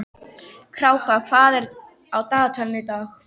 Kráka, hvað er á dagatalinu í dag?